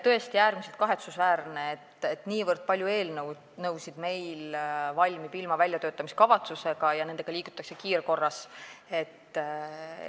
Tõesti on äärmiselt kahetsusväärne, et niivõrd palju eelnõusid valmib ilma väljatöötamiskavatsuseta ja nendega liigutakse edasi kiirkorras.